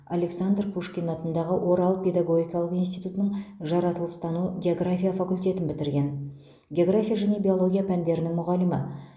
александр пушкин атындағы орал педагогикалық институтының жаратылыстану география факультетін бітірген география және биология пәндерінің мұғалімі